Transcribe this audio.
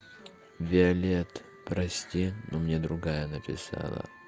виолетт прости но мне другая написала